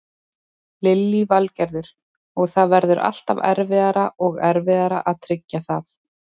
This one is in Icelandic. Lillý Valgerður: Og það verður alltaf erfiðara og erfiðara að tryggja það?